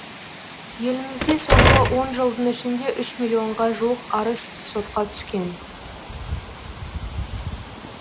елімізде соңғы он жылдың ішінде үш миллонға жуық арыз сотқа түскен